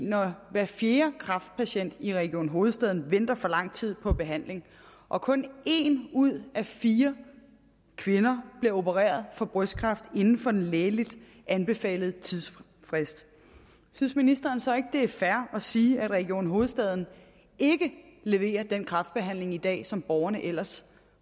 når hver fjerde kræftpatient i region hovedstaden venter for lang tid på behandling og kun en ud af fire kvinder bliver opereret for brystkræft inden for en lægeligt anbefalet tidsfrist synes ministeren så ikke det er fair at sige at region hovedstaden ikke leverer den kræftbehandling i dag som borgerne ellers